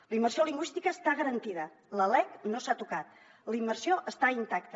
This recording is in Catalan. la immersió lingüística està garantida la lec no s’ha tocat la immersió està intacta